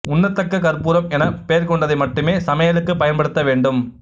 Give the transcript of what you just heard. உண்ணத்தக்க கற்பூரம் எனப் பெயர்க் கொண்டதை மட்டுமே சமையலுக்குப் பயன்படுத்த வேண்டும்